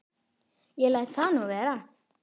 Ég læt það nú vera.